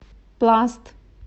пласт